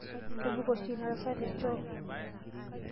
Kebik oshi ina tasat techoo.